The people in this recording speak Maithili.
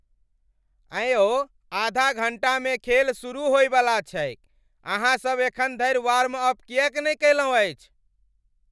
एँ यौ आधा घण्टामे खेल सुरु होइवला छैक। अहाँ सभ एखन धरि वार्मअप किएक नहि कयलहुँ अछि?